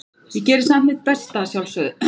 Ég geri samt mitt besta, að sjálfsögðu.